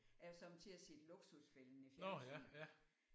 Jeg har sommetider set Luksusfælden i fjernsynet